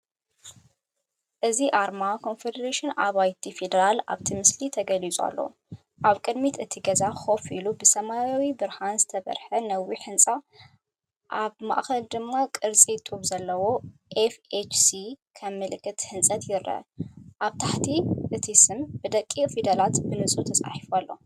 እዚ ኣርማ ኮርፖሬሽን ኣባይቲ ፌደራል ኣብቲ ምስሊ ተገሊፁ ኣሎ። ኣብ ቅድሚት እቲ ገዛ ኮፍ ኢሉ ብሰማያዊ ብርሃን ዝበርህ ነዊሕ ህንጻ፤ ኣብ ማእከል ድማ ቅርጺ ጡብ ዘለዎ‘ኤፍኤችሲ’ከም ምልክት ህንጸት ይረአ። ኣብ ታሕቲ እቲ ስም ብደቂቕ ፊደላት ብንጹር ተጻሒፉ ኣሎ።